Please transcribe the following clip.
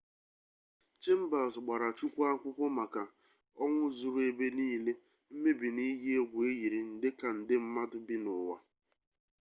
chambers gbara chukwu akwụkwọ maka ọnwụ zuru ebe niile mmebi na iyi egwu eyiri nde ka nde mmadụ bi n'ụwa